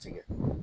Jigin